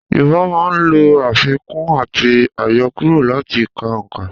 Yorùbá máa n lo àfikún àti àyokúrò láti ka òǹkà